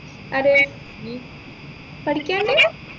അതെ പഠിക്കാണ്ട്